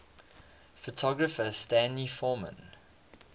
photographer stanley forman